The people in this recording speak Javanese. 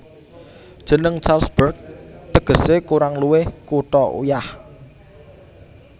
Jeneng Salzburg tegesé kurang luwih Kutha Uyah